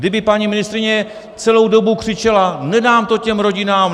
Kdyby paní ministryně celou dobu křičela: Nedám to těm rodinám!